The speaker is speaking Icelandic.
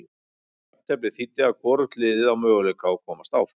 Jafnteflið þýddi að hvorugt liðið á möguleika að komast áfram.